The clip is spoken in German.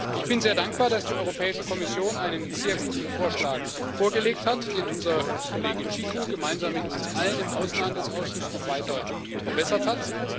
Ich bin sehr dankbar, dass die Europäische Kommission einen sehr guten Vorschlag vorgelegt hat, den unser Kollege Cicu gemeinsam mit uns allen im Ausschuss für internationalen Handel noch weiter verbessert hat.